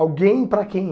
Alguém para quem?